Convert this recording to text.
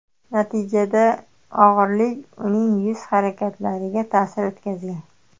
Natijada og‘irlik uning yuz harakatlariga ta’sir o‘tkazgan.